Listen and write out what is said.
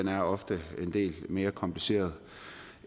er ofte en del mere kompliceret